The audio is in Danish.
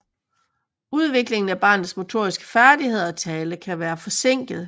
Udviklingen af barnets motoriske færdigheder og tale kan være forsinket